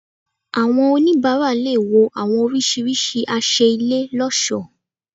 Àwọn onibara lè wò àwọn orisirisi àṣẹ ilé loṣo